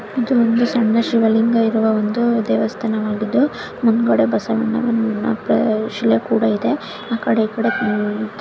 ಇದು ಒಂದು ಸಣ್ಣ ಶಿವಲಿಂಗ ಇರುವ ಒಂದು ದೇವಸ್ಥಾನವಾಗಿದ್ದು ಮುಂದುಗಡೆ ಬಸವಣ್ಣ ಮತ್ತೆ ಶಿವ ಕೂಡ ಇದೇ ಆ ಕಡೆ ಈ ಕಡೆ --